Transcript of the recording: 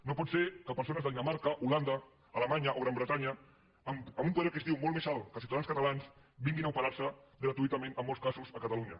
no pot ser que persones de dinamarca holanda alemanya o gran bretanya amb un poder adquisitiu molt més alt que els ciutadans catalans vinguin a operar se gratuïtament en molts casos a catalunya